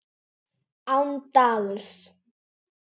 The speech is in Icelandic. Án dals.